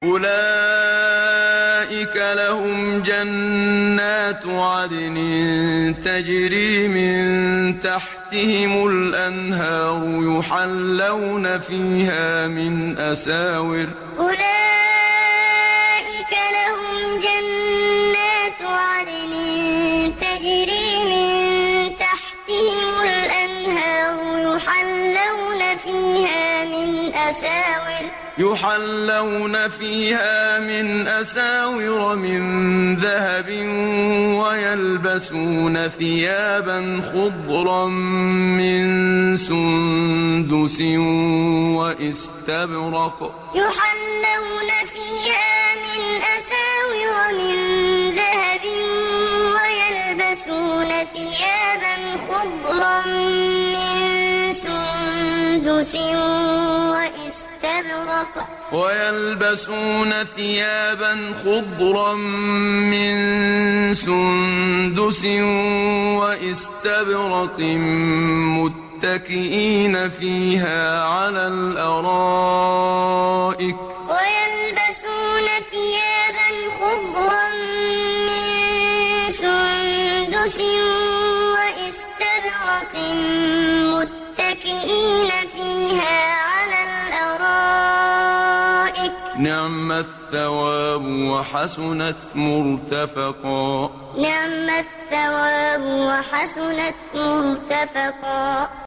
أُولَٰئِكَ لَهُمْ جَنَّاتُ عَدْنٍ تَجْرِي مِن تَحْتِهِمُ الْأَنْهَارُ يُحَلَّوْنَ فِيهَا مِنْ أَسَاوِرَ مِن ذَهَبٍ وَيَلْبَسُونَ ثِيَابًا خُضْرًا مِّن سُندُسٍ وَإِسْتَبْرَقٍ مُّتَّكِئِينَ فِيهَا عَلَى الْأَرَائِكِ ۚ نِعْمَ الثَّوَابُ وَحَسُنَتْ مُرْتَفَقًا أُولَٰئِكَ لَهُمْ جَنَّاتُ عَدْنٍ تَجْرِي مِن تَحْتِهِمُ الْأَنْهَارُ يُحَلَّوْنَ فِيهَا مِنْ أَسَاوِرَ مِن ذَهَبٍ وَيَلْبَسُونَ ثِيَابًا خُضْرًا مِّن سُندُسٍ وَإِسْتَبْرَقٍ مُّتَّكِئِينَ فِيهَا عَلَى الْأَرَائِكِ ۚ نِعْمَ الثَّوَابُ وَحَسُنَتْ مُرْتَفَقًا